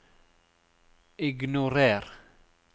ignorer